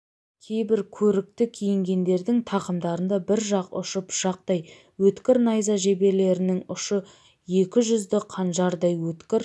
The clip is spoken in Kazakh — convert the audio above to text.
кейбір көрікті киінгендердің тақымдарында бір жақ ұшы пышақтай өткір найза жеберлерінің ұшы екі жүзді қанжардай өткір